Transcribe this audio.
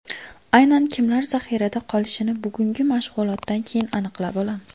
Aynan kimlar zaxirada qolishini bugungi mashg‘ulotdan keyin aniqlab olamiz.